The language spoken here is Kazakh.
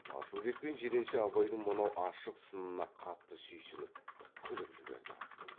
асылбек пен жиренше абайдың мынау ашық сынына қатты сүйсініп күліп жіберді